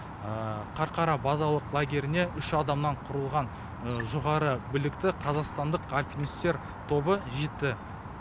қарқара базалық лагеріне үш адамнан құрылған жоғары білікті қазақстандық альпинистер тобы жетті